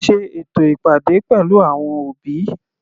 Sé ètò ìpàdé pẹ̀lú àwọn òbí.